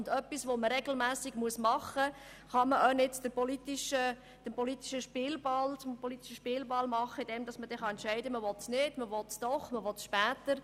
Und was man regelmässig tun muss, kann man auch nicht zum politischen Spielball machen, bei dem man jeweils entscheiden kann, ob man es will oder nicht und wenn, ob jetzt oder später.